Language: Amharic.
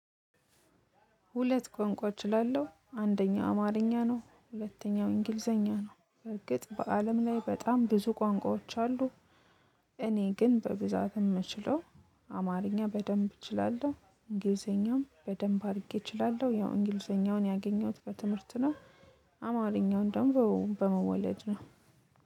ሁለት ቋንቋ እችላለሁ አንደኛ አማርኛ ነው ሁለተኛው እንግሊዘኛ ነው በእርግጥ በአለም ላይ በጣም ብዙ ቋንቋዎች አሉ። እኔ ግን በብዛት የምችለው አማርኛ በደንብ እችላለሁ እንግሊዘኛም በደንብ አድርጌ እችላለሁ ያው እንግሊዘኛውን ያገኘሁት በትምህርት ነው። አማርኛውን ደግሞ በመወለድ ነው።